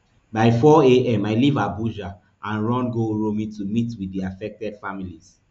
by four am i leave abuja and rush go uromi to meet wit di affected families